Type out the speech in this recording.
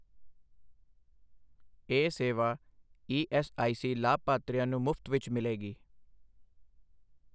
ਇਹ ਸੇਵਾ ਈਐਸਆਈਸੀ ਲਾਭਪਾਤਰੀਆਂ ਨੂੰ ਮੁਫ਼ਤ ਵਿੱਚ ਮਿਲੇਗੀ।